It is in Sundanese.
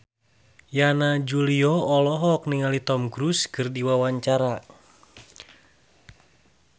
Yana Julio olohok ningali Tom Cruise keur diwawancara